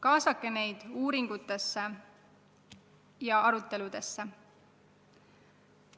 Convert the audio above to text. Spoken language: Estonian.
Kaasake neid uuringutesse ja aruteludesse!